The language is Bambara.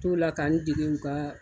T'o la ka n dege u ka